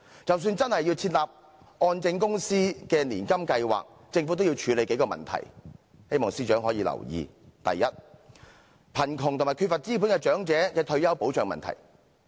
即使真的設立按證公司的年金計劃，政府也需要處理數項問題，希望司長可以留意：第一，貧窮及缺乏資本的長者的退休保障問題。